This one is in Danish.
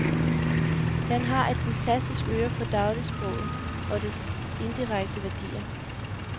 Han har et fantastisk øre for dagligsproget og dets indirekte værdier.